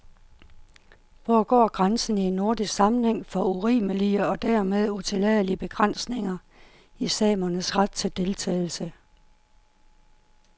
Hvor går grænsen i en nordisk sammenhæng for urimelige og dermed utilladelige begrænsninger i samernes ret til deltagelse?